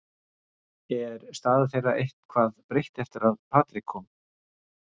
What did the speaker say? Er staða þeirra eitthvað breytt eftir að Patrick kom?